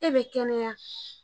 E bɛ kɛnɛya